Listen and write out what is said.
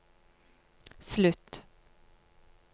slutt